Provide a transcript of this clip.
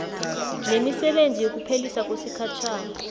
nemisebenzi yokuphelisa kwesikhatjhana